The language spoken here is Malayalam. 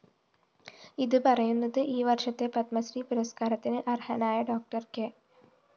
ഇത് പറയുന്നത് ഈ വര്‍ഷത്തെ പത്മശ്രീപുരസ്‌കാരത്തിന് അര്‍ഹനായ ഡോക്ടർ കെ